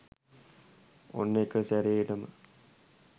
ඔන්න එකසැරේටම